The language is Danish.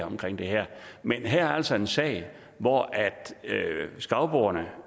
omkring det her men her er altså en sag hvor skagboerne